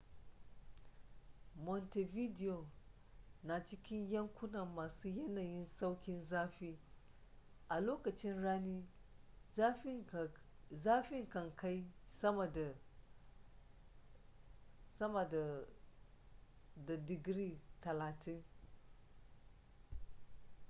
montevideo na cikin yankuna masu yanayin sauƙin zafi; a lokacin rani zafi kan kai sama da +30°c